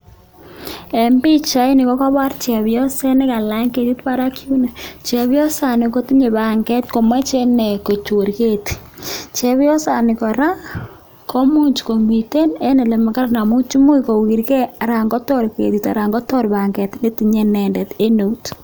En pichaini kokobor chebioset nekalany ketit Barak yuno, chebiosani kotinye banget komoche inee kochor ketii chebiosani kora komiten en elemakaran amun imuch kowirke aran Kotor ketit Stan kotor banget netinye inendet en eut.